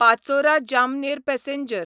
Pachora Jamner passenger